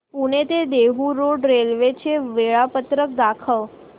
पुणे ते Dehu road railway चे वेळापत्रक दाखव